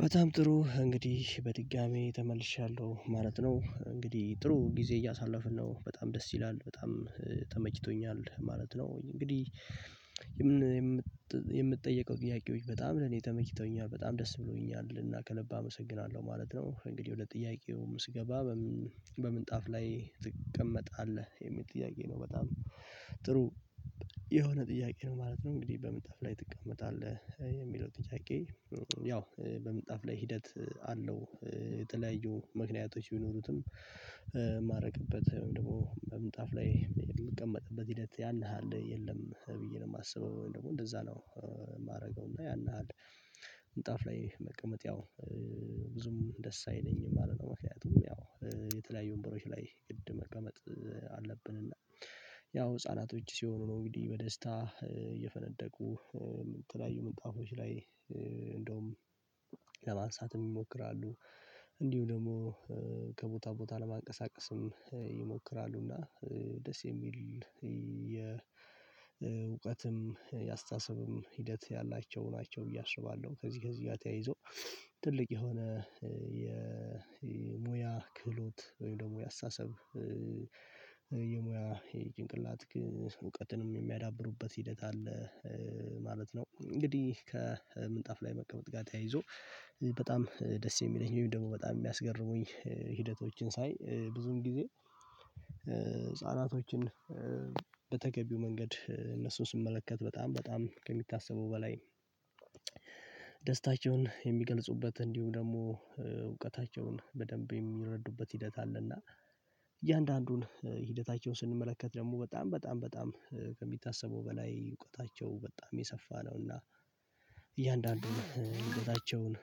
በጣም ጥሩ እንግዲህ በድጋሚ ተመልሻለሁ ማለት ነው እንግዲህ ጥሩ ጊዜ እያሳለፍን ነው በጣም ደስ ይላል በጣም ተመችቶኛል ማለት ነው። እንግዲህ የምትጠየቀው ጥያቄዎች በጣም ለኔ ተመችተውኛል በጣም ደስ ብሎኛል እና ከልብ አመሰግናለሁ ማለት ነው። እንግዲህ ወደ ጥያቄው ስገባ በምንጣፍ ላይ ትቀመጣለህ የሚል ጥያቄ ነው። በጣም ጥሩ የሆነ ጥያቄ ነው ማለት ነው። እንግዲህ በምንጣፍ ላይ ትቀመጣለህ የሚለው ጥያቄ ያው በምንጣፍ ላይ ሂደት አለው። የተለያዩ ምክንያቶች ቢኖሩትም ማረግበት ደግሞ በምንጣፍ ላይ የምቀመጥበት ሂደት ያን ያህል የለም ብዬ ነው የማስበው። ወይም ደግሞ እንደዛ ነው የማደርገው። እና ያን ያህል ምንጣፍ ላይ መቀመጥ ያው ብዙም ደስ አይለኝም ማለት ነው። ምክንያቱም ያው የተለያዩ ወንበሮች ላይ ግድ መቀመጥ አለብን። እና ያው ህፃናቶች ሲሆኑ ነው እንግዲህ በደስታ እየፈነደቁ የተለያዩ ምንጣፎች ላይ እንደውም ለማንሳት ይሞክራሉ። እንዲሁ ደግሞ ከቦታ ቦታ ለማንቀሳቀስም ይሞክራሉና። ደስ የሚል የእውቀትም የአስተሳሰብም ሂደት ያላቸው ናቸው ብዬ አስባለሁ። ከዚህ ከዚህ ጋር ተያይዞ ትልቅ የሆነ የሙያ ክህሎት ወይ ደግሞ የሙያ አስተሳሰብ የሙያ የጭንቅላት እውቀትንም የሚያዳብሩበት ሂደት አለ ማለት ነው። እንግዲህ ከምንጣፍ ላይ መቀመጥ ጋር ተያይዞ በጣም ደስ የሚለኝ ወይም ደግሞ በጣም የሚያስገርሙኝ ሂደቶችን ሳይ ብዙን ጊዜ ህፃናቶችን በተገቢው መንገድ እነሱን ስመለከት በጣም በጣም ከሚታሰበው በላይ ደስታቸውን የሚገልጹበት እንዲሁም ደግሞ እውቀታቸውን በደንብ የሚረዱበት ሂደት አለና። እያንዳንዱን ሂደታቸውን ስንመለከት ደግሞ በጣም በጣም በጣም ከሚታሰበው በላይ እውቀታቸው በጣም የሰፋ ነውና። እያንዳንዱን እውቀታቸውን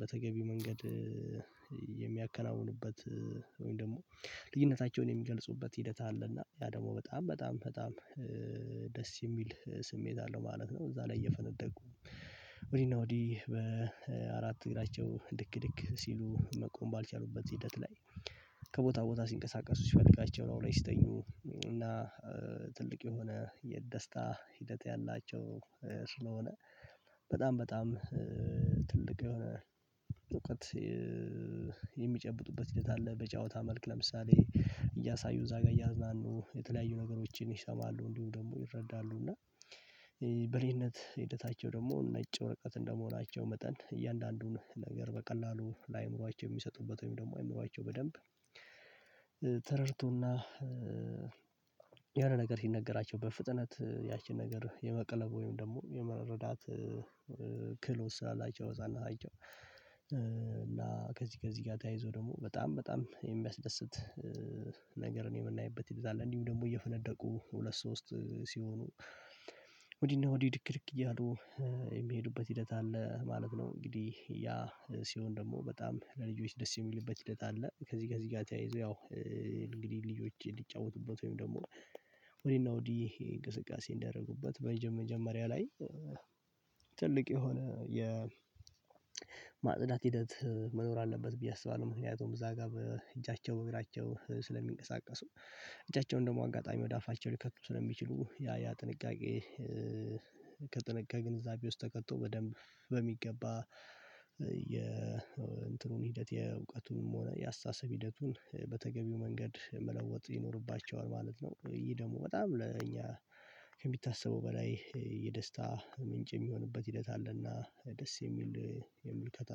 በተገቢው መንገድ የሚያከናውኑበት ወይም ደግሞ ልዩነታቸውን የሚገልጹበት ሂደት አለና ያ ደግሞ በጣም በጣም በጣም ደስ የሚል ስሜት አለው ማለት ነው። እዛ ላይ እየፈነደቁ ወዲህ እና ወዲህ በአራት እግራቸው ድክ ድክ ሲሉ መቆም ባልቻሉበት ሂደት ላይ። ከቦታ ቦታ ሲንቀሳቀሱ ሲፈልጉ ደግሞ ላዩ ላይ ሲተኙ እና ትልቅ የሆነ የደስታ ሂደት ያላቸው ስለሆነ በጣም በጣም ትልቅ የሆነ እውቀት የሚጨብጡበት እውቀት አለ። በጨዋታ መልክ ለምሳሌ እያሳዩ እዛ ጋር እያዝናኑ የተለያዩ ነገሮችን ይሰማሉ እንዲሁ ደግሞ ይረዳሉ እና። በልጅነት ሂደታቸው ደግሞ ነጭ ወረቀት እንደመሆናቸው መጠን እያንዳንዱን ነገር በቀላሉ ለአእምሮአቸው የሚሰጡበት ወይም ደግሞ አእምሮአቸው በደንብ ተረድተው እና የሆነ ነገር ሲነገራቸው በፍጥነት ያቺን ነገር የመቅለብ ወይም ደግሞ የመረዳት ክህሎት ስላላቸው ህፃናቶች። እና ከዚህ ከዚህ ጋር ተያይዞ ደግሞ በጣም በጣም የሚያስደስት ነገርን የምናይበት ሂደት አለ። እንዲሁ ደግሞ እየፈነደቁ ሁለት ሶስት ሲሆኑ ወዲህ እና ወዲህ ድክድክ እያሉ የሚሄዱበት ሂደት አለ ማለት ነው። እንግዲህ ያ ሲሆን ደግሞ በጣም ለልጆች ደስ የሚልበት ሂደት አለ። ከዚህ ጋር እዚህ ጋር ተያይዞ ያው እንግዲህ ልጆቼ ሊጫወቱበት ወይም ደግሞ ወዲህ እና ወዲህ እንቅስቃሴ እንዲያደርጉበት መጀመሪያ ላይ ትልቅ የሆነ የማጽዳት ሂደት መኖር አለበት ብዬ አስባለሁ። ምክንያቱም እዚያ ጋር በእጃቸው በእግራቸው ስለሚንቀሳቀሱ እጃቸውን ደግሞ በአጋጣሚ ወደ አፋቸው ሊከቱ ስለሚችሉ ያ ያ ጥንቃቄ ከጥንቃቄ ግንዛቤ ውስጥ ተከቶ በደንብ በሚገባ የእንትኑን ሂደት የእውቀቱንም ሆነ የ አስተሳሰብ ሂደቱን በተገቢው መንገድ መለወጥ ይኖርባቸዋል። ማለት ነው ይሄ ደግሞ በጣም ለእኛ ከሚታሰበው በላይ የደስታ ምንጭ የሚሆንበት ሂደት አለና ደስ የሚል የምልከታ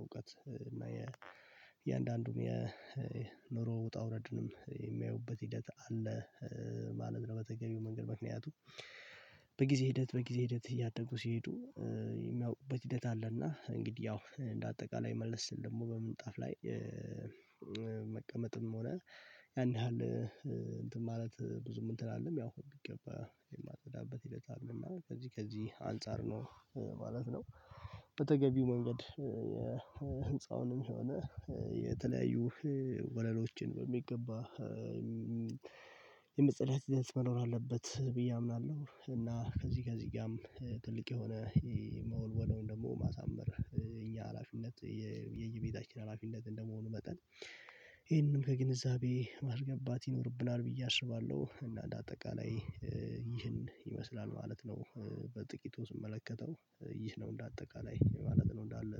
እውቀት እና የእያንዳንዱን የኑሮ ውጣ ውረድንም የሚያዩበት ሂደት ማለት ነው። በተገቢው መንገድ ምክንያቱም በጊዜ ሂደት በጊዜ ሂደት እያደጉ ሲሄዱ የሚያውቁበት ሂደት አለና። እንግዲህ ያው እንደ አጠቃላይ መልስ ደግሞ በምንጣፍ ላይ ሆነን ያን ያክል እንትን ማለት ብዙም እንትን አንልም ያው በሚገባ የማጸዳበት ሂደት አለ እና ከዚህ ከዚህ አንፃር ነው ማለት ነው። በተገቢው መንገድ የህንፃውንም ሆነ የተለያዩ ወለሎችን በሚገባ የመጸዳትገጽ መኖር አለበት ብዬ አምናለሁ። እና ከዚህ ከዚህ ጋርም ትልቅ የሆነ መወልወል ወይም ደግሞ ማሳመር የእኛ ሀላፊነት የየቤታችን ሀላፊነት እንደመሆኑ መጠን ከግንዛቤ ማስገባት ይኖርብናል ብዬ አስባለሁ። እና አጠቃላይ ይህን ይመስላል ማለት ነው። በጥቂቱ ስመለከተው ይህ ነው እንደ አጠቃላይ ማለት ነው እንዳለ